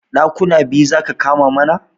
Ɗakuna biyu zaka kama mana